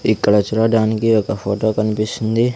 ఇక్కడ చూడడానికి ఒక ఫోటో కన్పిస్తుంది.